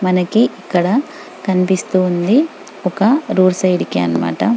మనకి ఇక్కడ కనిపిస్తుంది ఒక రోడ్ సైడ్ కి అన్నమాట .